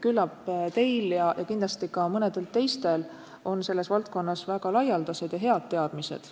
Küllap teil ja kindlasti ka mõnedel teistel on selles valdkonnas väga laialdased teadmised.